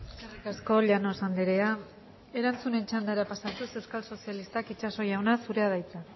eskerrik asko llanos andrea erantzunen txandara pasatuz euskal sozialistak itxaso jauna zurea da hitza